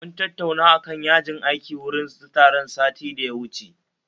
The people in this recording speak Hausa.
Mun tattauna akan yajin aiki wurin taron satin da ya wucewa